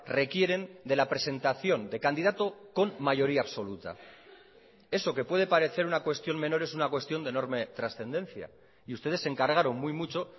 requieren de la presentación de candidato con mayoría absoluta eso que puede parecer una cuestión menor es una cuestión de enorme trascendencia y ustedes se encargaron muy mucho